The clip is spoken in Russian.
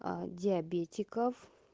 диабетиков